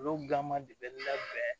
Olu gan ma de bɛ labɛn